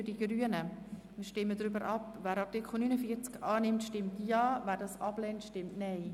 Wer dieser Gesetzesänderung genehmigt, stimmt Ja, wer diese ablehnt, stimmt Nein.